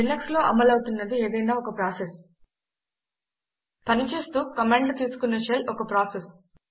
Linux లో అమలు అవుతున్నది ఏదైనా ఒక ప్రాసెస్ పనిచేస్తూ కమాండ్లు తీసుకునే షెల్ ఒక ప్రాసెస్